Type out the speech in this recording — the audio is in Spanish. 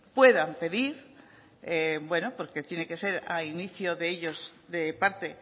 puedan pedir bueno porque tiene que ser a inicio de ellos de parte